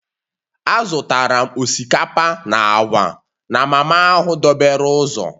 Azụtara m osikapa na agwa na mama ahụ dobere ụzọ